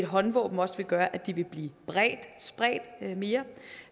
håndvåben også vil gøre at de vil blive spredt mere